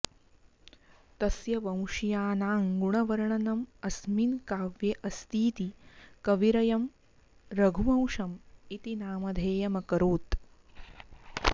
तस्य वंशीयानां गुणवर्णनम् अस्मिन् काव्ये अस्तीति कविरयं रघुवंशम् इति नामधेयमकरोत्